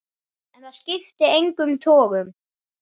En það skipti engum togum.